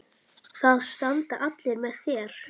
Það standa allir með þér.